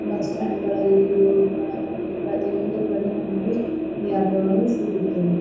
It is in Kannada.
ಬಸ್ಸ್ಟ್ಯಾಂಡ್ ಗಳಲ್ಲಿ ರೋಡು ಗಳ ಮೇಲೆ ಪ್ರತಿಯೊಂದು ಕಡೆ ಈ ಆಟೋ ಗಳು ಸಿಗುತ್ತವೆ.